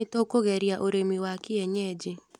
Nĩtũkũgeria ũrĩmi wa kienyeji.